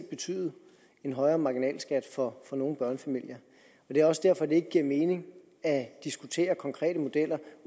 betyde en højere marginalskat for nogle børnefamilier og det er også derfor at det ikke giver mening at diskutere konkrete modeller